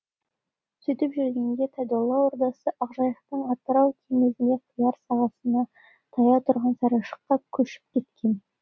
сөйтіп жүргенінде тайдолла ордасы ақжайықтың атырау теңізіне құяр сағасына таяу тұрған сарайшыққа көшіп кеткен